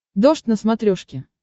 дождь на смотрешке